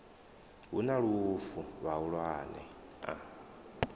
hu na lufu vhahulwane a